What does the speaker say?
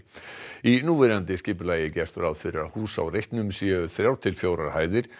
í núverandi skipulagi er gert ráð fyrir að hús á reitnum séu þrjár til fjórar hæðir